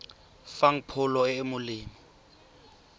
fang pholo e e molemo